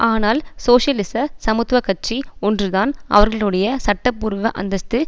ஆனால் சோசியலிச சமத்துவ கட்சி ஒன்றுதான் அவர்களுடைய சட்டபூர்வ அந்தஸ்து